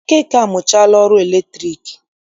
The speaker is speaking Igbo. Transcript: Okeke amụchaala ọrụ latriki